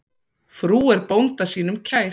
Frú er bónda sínum kær.